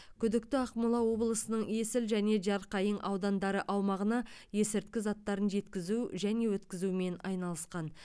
күдікті ақмола облысының есіл және жарқайың аудандары аумағына есірткі заттарын жеткізу және өткізумен айналысқан